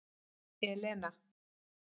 Elena